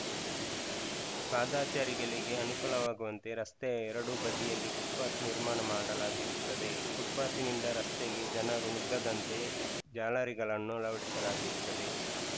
ಪಾದಚಾರಿಗಳಿಗೆ ಅನುಕೂಲವಾಗುವಂತೆ ರಸ್ತೆಯ ಎರಡೂ ಬದಿಯಲ್ಲಿ ಫುಟ್‌ಪಾತ್‌ ನಿರ್ಮಾಣ ಮಾಡಲಾಗಿರುತ್ತದೆ ಫುಟ್‌ಪಾತ್‌ನಿಂದ ರಸ್ತೆಗೆ ಜನರು ನುಗ್ಗದಂತೆ ಜಾಲರಿಗಳನ್ನು ಅಳವಡಿಸಲಾಗಿರುತ್ತದೆ